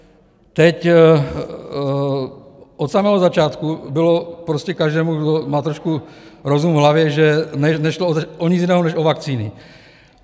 Teď od samého začátku bylo prostě každému, kdo má trošku rozum v hlavě, , že nešlo o nic jiného než o vakcíny.